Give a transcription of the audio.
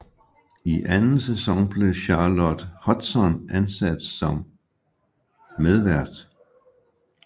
I anden sæson blev Charlotte Hudson ansat som medvært